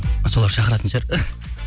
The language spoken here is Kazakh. солар шақыратын шығар